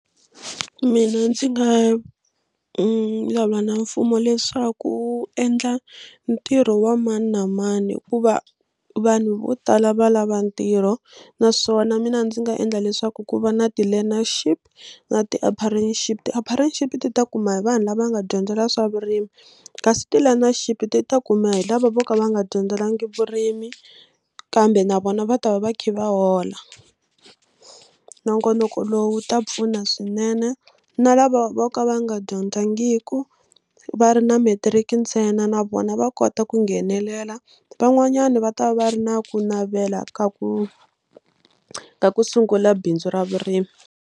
Mina ndzi nga vulavula na mfumo leswaku wu endla ntirho wa mani na mani hikuva vanhu vo tala va lava ntirho naswona mina ndzi nga endla leswaku ku va na ti-learnership na . ti ta kuma hi vanhu lava nga dyondzela swa vurimi kasi ti-learnership ti ta kuma hi lava vo ka va nga dyondzelanga vurimi kambe na vona va ta va va kha va hola. Nongonoko lowu wu ta pfuna swinene na lava vo ka va nga dyondzangiki ku va ri na matric ntsena na vona va kota ku nghenelela van'wanyana va ta va va ri na ku navela ka ku ka ku sungula bindzu ra vurimi.